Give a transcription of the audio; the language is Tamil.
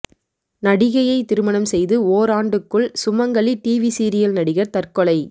நடிகையை திருமணம் செய்து ஓராண்டுக்குள் சுமங்கலி டிவி சீரியல் நடிகர் தற்கொலை